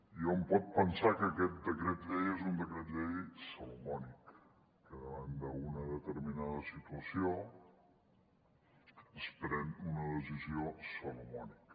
i hom pot pensar que aquest decret llei és un decret llei salomònic que davant d’una determinada situació es pren una decisió salomònica